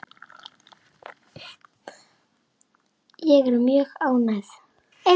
Ég er mjög ánægð.